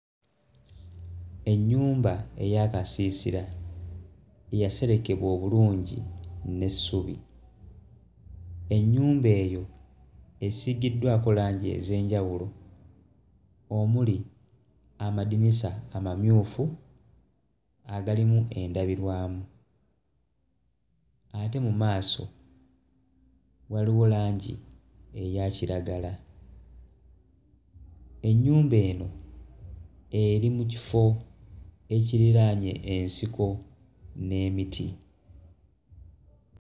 Ennyumba ey'akasiisira eyaserekebwa obulungi n'essubi. Ennyumba eno esiigiddwako langi ez'enjawulo omuli amadinisa amamyufu agalimu endabirwamu. Ate mu maaso waliwo langi eya kiragala. Ennyumba eno eri mu kifo ekiriraanye ensiko n'emiti.